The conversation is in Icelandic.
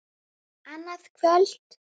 Annað kvöld!